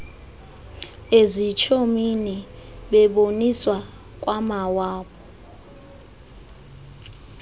ezitshomini beboniswa kwamawabo